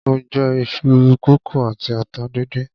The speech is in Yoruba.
Mo jẹ iṣu kókò àti atata díndín.